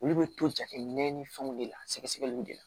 Olu bɛ to jateminɛ ni fɛnw de la sɛgɛsɛgɛliw de la